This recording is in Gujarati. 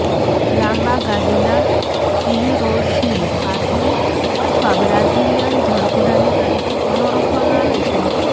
લાંબા ગાદીના સીહરોસને પાતળી અથવા બ્રાઝિલીયન જળઘોડાની તરીકે પણ ઓળખવામાં આવે છે